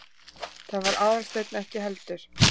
Það var Aðalsteinn ekki heldur.